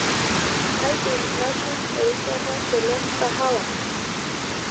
kaadim natum erishata tele mkahawa